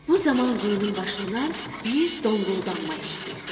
Bu zaman quyunun başından bir donquldanma eşidildi.